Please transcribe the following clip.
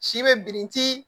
Si be birinti